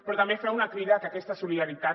però també fem una crida a que aquesta solidaritat